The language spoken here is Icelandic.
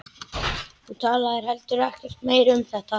Þú talaðir heldur ekkert meira um þetta.